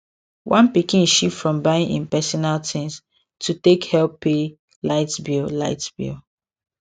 one pikin shift from buying im personal things to take help pay light bill light bill